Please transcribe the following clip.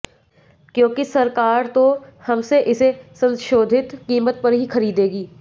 क्योंकि सरकार तो हमसे इसे संशोधित कीमत पर ही खरीदेगी